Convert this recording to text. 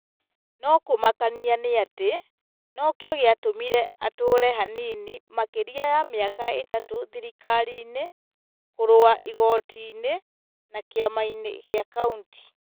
no kũmakania nĩatĩ no kĩo gĩatũmire atũũre hanini makĩria ma mĩaka ĩtatũ thirikari-inĩ - kũrũa igoti-inĩ, na kĩama-inĩ kĩa kauntĩ ,